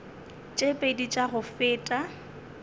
tše pedi tša go feta